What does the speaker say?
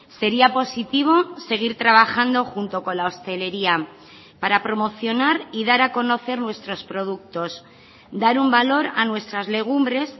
sería positivo seguir trabajando junto con la hostelería para promocionar y dar a conocer nuestros productos dar un valor a nuestras legumbres